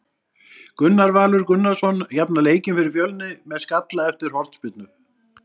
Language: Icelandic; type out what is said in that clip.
Gunnar Valur Gunnarsson jafnar leikinn fyrir Fjölni með skalla eftir hornspyrnu.